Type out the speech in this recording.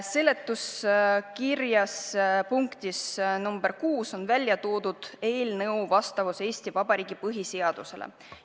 Seletuskirja punktis nr 6 on välja toodud eelnõu vastavus Eesti Vabariigi põhiseadusele.